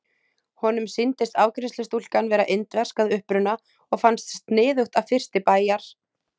Honum sýndist afgreiðslustúlkan vera indversk að uppruna og fannst sniðugt að fyrsti bæjar